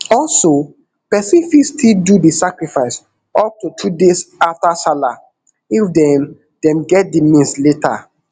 also pesin fit still do di sacrifice up to two days afta sallah if dem dem get di means later